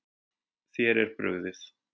Þér er brugðið.